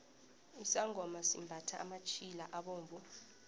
isangoma simbathha amatjhila abovu